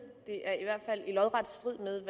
det er lodret strid med